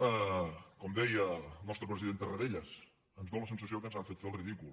com deia el nostre president tarradellas ens fa la sensació que ens han fet fer el ridícul